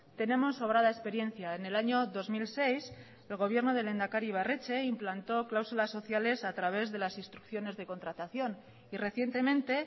tenemos sobrada experiencia en el año dos mil seis el gobierno del lehendakari ibarretxe implantó cláusulas sociales a través de las instrucciones de contratación y recientemente